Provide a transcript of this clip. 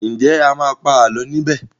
Nje a má pa àlọ ní bè?